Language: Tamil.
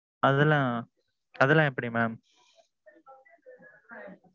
அதெல்லாம் அதெல்லாம் எப்பிடி mam?